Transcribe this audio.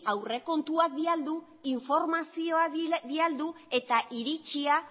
aurrekontuak bialdu informazioa bialdu eta iritzia